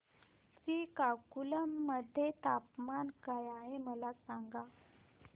श्रीकाकुलम मध्ये तापमान काय आहे मला सांगा